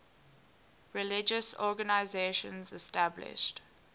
religious organizations established